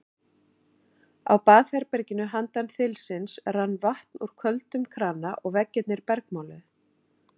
Á baðherberginu handan þilsins rann vatn úr köldum krana og veggirnir bergmáluðu.